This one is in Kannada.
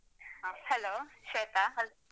ಹ Hello ಶ್ವೇತಾ.